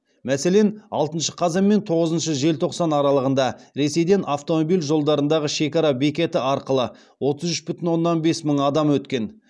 мәселен алтыншы қазан мен тоғызыншы желтоқсан аралығында ресейден автомобиль жолдарындағы шекара бекеті арқылы отыз үш бүтін оннан бес мың адам өткен